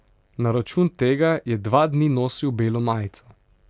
Na račun tega je dva dni nosil belo majico.